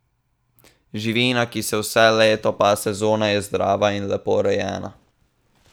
Živina, ki se vse leto pase zunaj, je zdrava in lepo rejena.